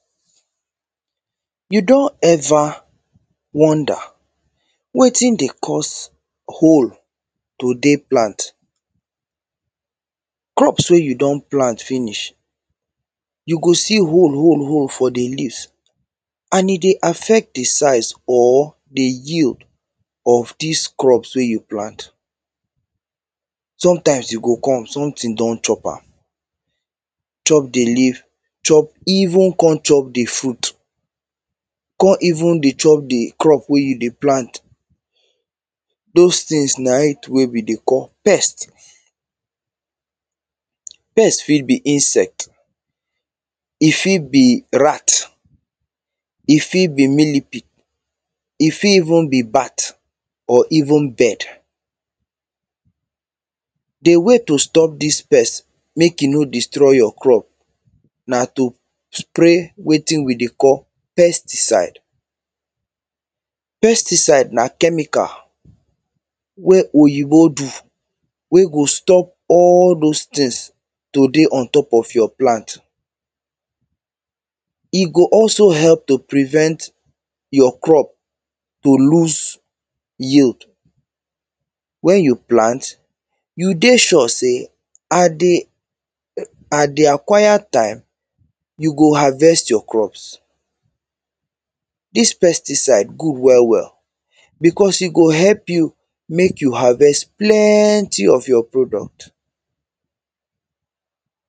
You don ever wonder wetin dey cause hole to dey plant? Crops wey you don plant finish, you go see hole, hole, hole for the leaf. And e dey affect the size or the yield of dis crops wey you plant. Sometimes you go come, something don chop am. Chop the leaf, chop...even come chop the fruit. come even dey chop the crop wey you dey plant. Those things na e wey we dey call pest. Pest fit be insect. E fit be rat. E fit be millipede. E fit even be bat. Or even bird. The way to stop dis pest mek e no destroy your crop, na to spray wetin we dey call pesticide. Pesticide na chemical wey oyinbo do. wey go stop all those things to dey on top of your plant. E go also help to prevent your crop to lose yield. When you plant, you dey sure say and the...and the acquired time, you go harvest your crops. This pesticide good well, well because e go help you mek you harvest plenty of your product.